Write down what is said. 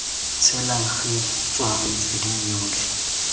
tshelang gi tswa metsweding yotlhe